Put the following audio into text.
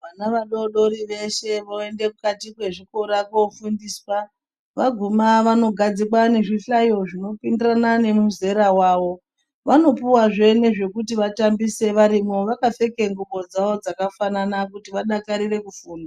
Vana vadodori veshe voende mukati mwezvikora koofundiswa. Vaguma vanogadzikwa nezvihlayo zvinopindirana nemuzera wavo. Vanopuwazve nezvekuti vatambise varimwo, vakapfeke ngxubo dzavo dzakafanana, kuti vadakarire kufunda.